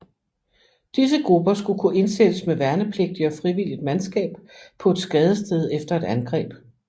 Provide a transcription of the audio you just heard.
Disse grupper skulle kunne indsættes med værnepligtigt og frivilligt mandskab på et skadested efter et angreb